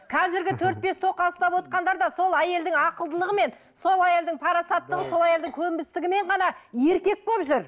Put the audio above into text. қазіргі төрт бес тоқал ұставотқандар да сол әйелдің ақылдылығымен сол әйелдің парасаттылығы сол әйелдің көнбістігімен ғана еркек болып жүр